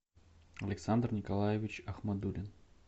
александр николаевич ахмадуллин